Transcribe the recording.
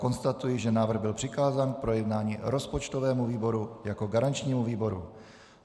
Konstatuji, že návrh byl přikázán k projednání rozpočtovému výboru jako garančnímu výboru.